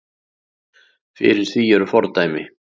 Fyrir því eru fordæmi.